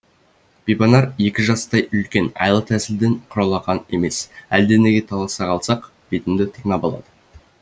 бибанар екі жастай үлкен айла тәсілден құралақан емес әлденеге таласа қалсақ бетімді тырнап алады